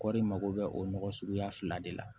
Kɔri mago bɛ o nɔgɔ suguya fila de la